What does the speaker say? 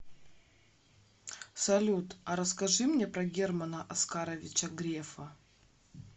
салют а расскажи мне про германа оскаровича грефа